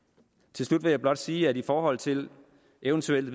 til slut vil jeg godt sige at i forhold til eventuelle